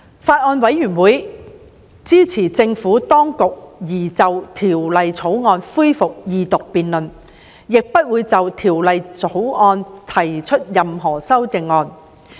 法案委員會支持政府當局擬就《條例草案》恢復二讀辯論，亦不會就《條例草案》提出任何修正案。